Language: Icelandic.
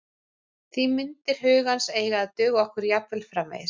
Því myndir hugans eiga að duga okkur jafnvel framvegis.